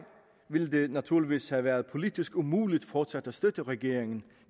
ville det naturligvis have været politisk umuligt fortsat at støtte regeringen